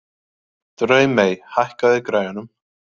Draumey, hækkaðu í græjunum.